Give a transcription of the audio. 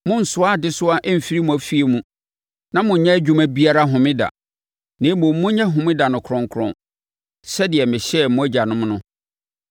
Monnsoa adesoa mfiri mo afie mu na monnyɛ adwuma biara Homeda, na mmom monyɛ Homeda no kronkron, sɛdeɛ mehyɛɛ mo agyanom no.